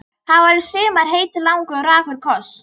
Það var í sumar heitur, langur og rakur koss.